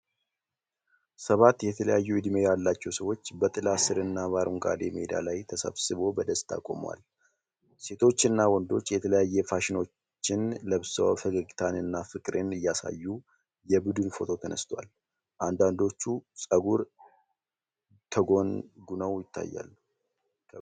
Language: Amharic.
ሰባት የተለያዩ እድሜ ያላቸው ሰዎች በጥላ ሥርና በአረንጓዴ ሜዳ ላይ ተሰብስበው በደስታ ቆመዋል። ሴቶችና ወንዶች የተለያዩ ፋሽኖችን ለብሰው ፈገግታንና ፍቅርን እያሳዩ የቡድን ፎቶ ተነስተዋል። አንዳንዶቹ ፀጉራቸውን ተጎንጉነው ይታያሉ።